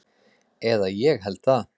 Eða ég held það.